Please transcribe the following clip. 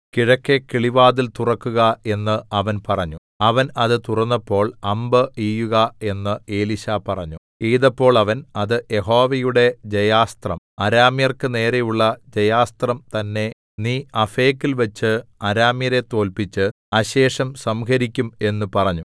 കിഴക്കെ കിളിവാതിൽ തുറക്കുക എന്ന് അവൻ പറഞ്ഞു അവൻ അത് തുറന്നപ്പോൾ അമ്പ് എയ്യുക എന്ന് എലീശാ പറഞ്ഞു എയ്തപ്പോൾ അവൻ അത് യഹോവയുടെ ജയാസ്ത്രം അരാമ്യർക്ക് നേരെയുള്ള ജയാസ്ത്രം തന്നേ നീ അഫേക്കിൽവെച്ച് അരാമ്യരെ തോല്പിച്ച് അശേഷം സംഹരിക്കും എന്ന് പറഞ്ഞു